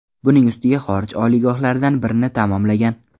Buning ustiga, xorij oliygohlaridan birini tamomlagan.